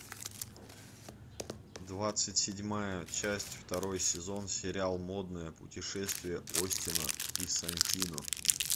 двадцать седьмая часть второй сезон сериал модное путешествие остина и сантино